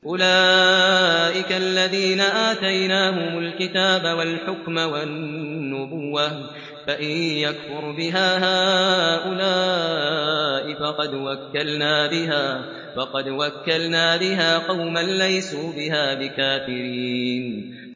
أُولَٰئِكَ الَّذِينَ آتَيْنَاهُمُ الْكِتَابَ وَالْحُكْمَ وَالنُّبُوَّةَ ۚ فَإِن يَكْفُرْ بِهَا هَٰؤُلَاءِ فَقَدْ وَكَّلْنَا بِهَا قَوْمًا لَّيْسُوا بِهَا بِكَافِرِينَ